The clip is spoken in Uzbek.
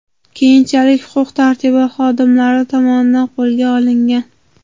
Keyinchalik huquq-tartibot xodimlari tomonidan qo‘lga olingan.